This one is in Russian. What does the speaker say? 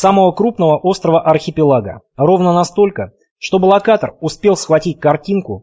самого крупного острова архипелага ровно настолько чтобы локатор успел схватить картинку